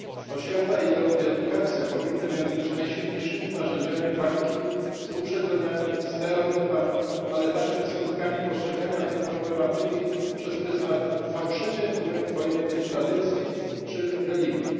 Oświata i edukacja powinny więc być najsilniejszym narzędziami walki z uprzedzeniami, stereotypami, ale także skutkami postrzegania tej problematyki przez pryzmat fałszywie pojętej tradycji czy religii.